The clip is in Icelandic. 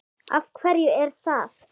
Af hverju er það?